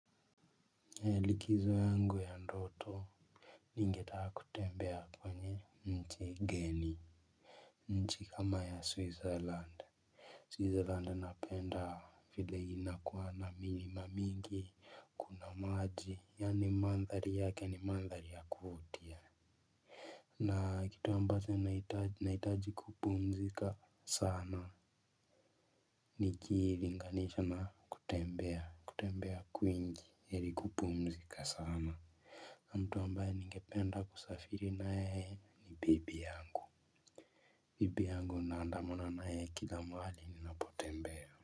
Likizo yangu ya ndoto ningetaka kutembea kwenye nchi geni. Nchi kama ya switzerland switzerland napenda vile inakua na milima mingi kuna maji yaani mandhari yake ni mandhari ya kuvutia. Na kitu ambacho naitaji kupumzika sana. Nikilinganisha na kutembea kwingi heri kupumzika sana. Mtu ambaye ningependa kusafiri nayeye ni bibi yangu. Bibi yangu naandamana na yeye kila mahali ninapotembea.